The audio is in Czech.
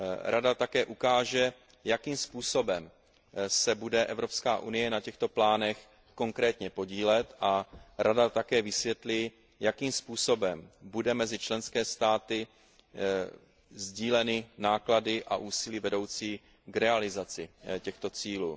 Rada také ukáže, jakým způsobem se bude EU na těchto plánech konkrétně podílet a Rada také vysvětlí, jakým způsobem budou mezi členskými státy sdíleny náklady a úsilí vedoucí k realizaci těchto cílů.